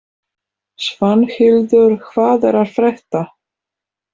Svanhildur, hvað er að frétta?